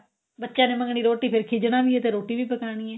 ਬੱਚਿਆ ਨੇ ਮੰਗਨੀ ਰੋਟੀ ਫ਼ਿਰ ਖਿਜਨਾ ਵੀ ਏ ਤੇ ਰੋਟੀ ਵੀ ਪਕਾਣੀ ਏ